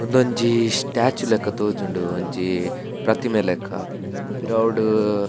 ಉಂದೊಂಜಿ ಸ್ಟಾಚ್ಯು ಲೆಕ್ಕ ತೋಜುಂಡು ಒಂಜಿ ಪ್ರತಿಮೆ ಲೆಕ್ಕ ಪಿರವುಡು--